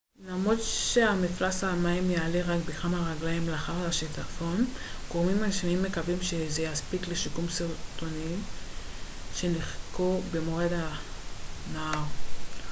למרות שמפלס המים יעלה רק בכמה רגליים לאחר השיטפון גורמים רשמיים מקווים שזה יספיק לשיקום שרטונים שנשחקו במורד הנהר